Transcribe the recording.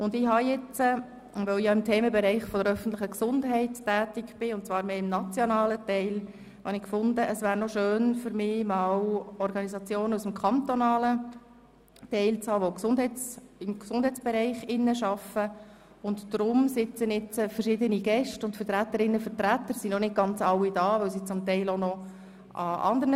Da ich im Themenbereich der öffentlichen Gesundheit tätig bin – und zwar eher im nationalen Bereich – fand ich, es wäre schön, Gäste aus dem kantonalen Bereich verschiedener Organisationen des Gesundheitsbereichs einzuladen.